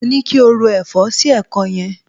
Mo ní ki o ro ẹ̀fọ́ sí ẹ̀kọ́ yẹn.